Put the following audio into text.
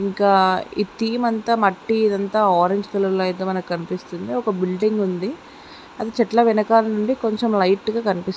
ఇంకా థీమ్ అంత మట్టి ఇదంతా ఆరెంజ్ కలర్ లో కనిపిస్తుంది. ఒక బిల్డింగ్ ఉంది.చెట్ల వెనకాల నుండి కొంచం లైట్ గా కని-- .